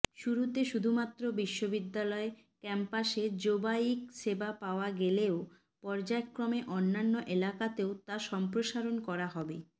শুরুতে শুধুমাত্র বিশ্ববিদ্যালয় ক্যাম্পাসে জোবাইক সেবা পাওয়া গেলেও পর্যায়ক্রমে অন্যান্য এলাকাতেও তা সম্প্রসারণ করা হবে